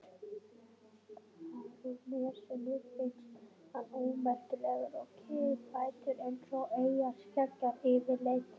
Barónessunni finnst hann ómerkilegur og kiðfættur eins og eyjarskeggjar yfirleitt.